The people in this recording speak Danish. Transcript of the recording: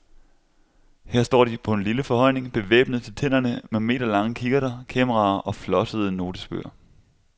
Her står de på en lille forhøjning bevæbnet til tænderne med meterlange kikkerter, kameraer og flossede notesbøger.